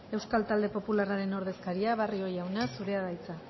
euskal talde popularraren ordezkaria barrio jauna zurea da hitza